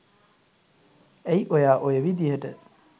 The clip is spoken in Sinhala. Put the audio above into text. ඇයි ඔයා ඔය විදිහට